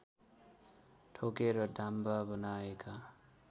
ठोकेर डाम्बा बनाएका